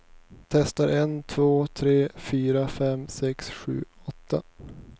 Testar en två tre fyra fem sex sju åtta.